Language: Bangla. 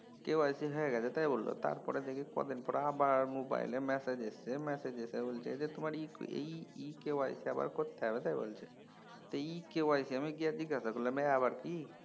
KYC হয়ে গেছে তাই বলল। তারপরে দেখি কয়দিন পর আবার মোবাইলে ম্যাসেজ এসছে, ম্যাসেজে বলছে যে তোমার EKYC আবার করতে হবে। তো EKYC আমি আবার গিয়া জিজ্ঞাসা করলাম এ আবার কি?